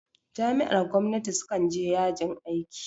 Jami'ar gwamnati su kan je yajin aiki